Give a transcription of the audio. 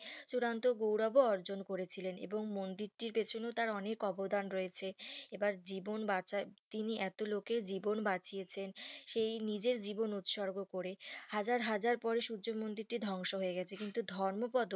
চূড়ান্ত গৌরব ও অর্জন করেছিলেন এবং মন্দিরটির পিছনেও তার অনেক অবদান রয়েছে এবার জীবন বাছাই তিনি এত লোকের জীবন বাঁচিয়েছেন সেই নিজের জীবন উৎসর্গ করে হাজার হাজার পরে সূর্য মন্দিরটি ধ্বংস হয়ে গেছে কিন্তু ধর্মপদ